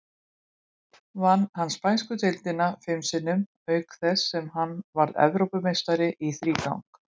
Vann hann spænsku deildina fim sinnum, auk þess sem hann varð Evrópumeistari í þrígang.